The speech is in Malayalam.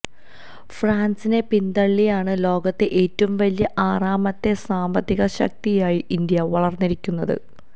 ഫ്രാന്സിനെ പിന്തള്ളിയാണ് ലോകത്തെ ഏറ്റവും വലിയ ആറാമത്തെ സാമ്പത്തിക ശക്തിയായി ഇന്ത്യ വളര്ന്നിരിക്കുന്നത്